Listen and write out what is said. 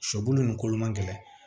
Shɔ bulu nin kolo ma gɛlɛn